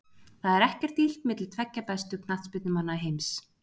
Það er ekkert illt milli tveggja bestu knattspyrnumanna heims.